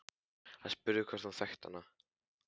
Hann spurði hvort hún þekkti hana.